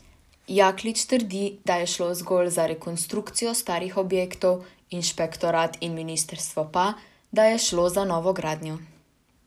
Jaklič trdi, da je šlo zgolj za rekonstrukcijo starih objektov, inšpektorat in ministrstvo pa, da je šlo za novogradnjo.